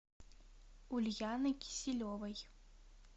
ульяны киселевой